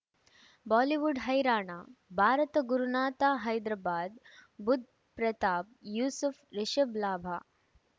Bollywood ಹೈರಾಣ ಭಾರತ ಗುರುನಾಥ ಹೈದರಾಬಾದ್ ಬುಧ್ ಪ್ರತಾಪ್ ಯೂಸುಫ್ ರಿಷಬ್ ಲಾಭ